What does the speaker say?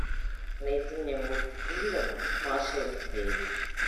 найди мне мультфильм маша и медведь